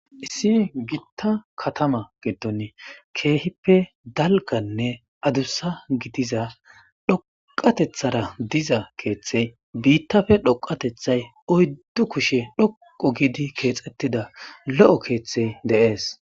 issi giitta katama gedon keehippe dalganne adussa gidiza dhoqatethara diza keeththey biittafe dhoqatethay oyddu kushe dhoqo giidi keexettida lo'o keeththey de'ees